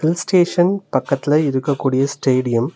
Hill station பக்கத்ல இருக்கக்கூடிய stadium .